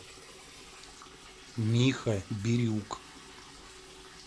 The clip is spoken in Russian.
миха бирюк